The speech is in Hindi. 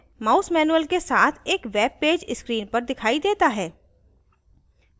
mouse manual के साथ एक web पेज screen पर दिखाई देता है